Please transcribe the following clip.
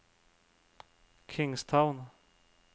Kingstown